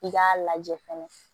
I k'a lajɛ fɛnɛ